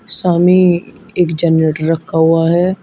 सामे एक जनरेटर रखा हुआ है।